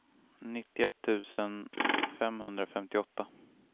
nittioett tusen femhundrafemtioåtta